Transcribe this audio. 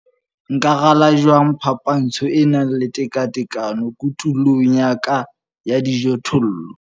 NKA RALA JWANG PHAPANTSHO E NANG LE TEKATEKANO KOTULONG YA KA YA DIJOTHOLLO?